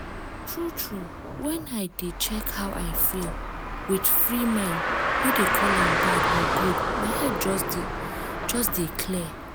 true true when i dey check how i feel with free mind no dey call am bad or good my head just just dey clear.